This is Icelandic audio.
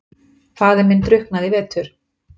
Faðir minn drukknaði í vetur.